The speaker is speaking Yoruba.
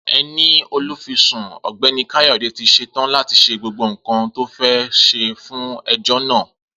Eni Olufisun Ọ̀gbẹ́ni Kayode ti se to láti se gbogbo nkan to fe se fun ejò na